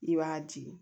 I b'a jigin